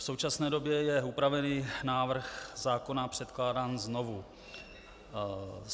V současné době je upravený návrh zákona předkládán znovu.